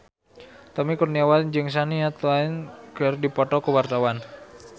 Tommy Kurniawan jeung Shania Twain keur dipoto ku wartawan